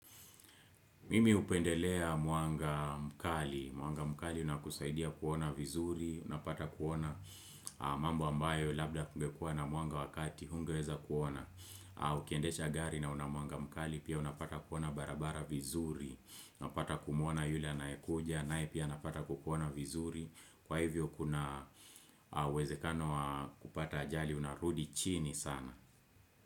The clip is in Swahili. Mimi hupendelea mwanga mkali, mwanga mkali unakusaidia kuona vizuri, unapata kuona mambo ambayo labda kungekua na mwanga wakati, hungeweza kuona, ukiendesha gari na unamwanga mkali, pia unapata kuona barabara vizuri, unapata kumuona yule anayekuja, nae pia napata kukuona vizuri, kwa hivyo kuna uwezekano kupata ajali, unarudi chini sana.